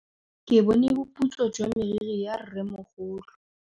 Ke bone boputswa jwa meriri ya rrêmogolo.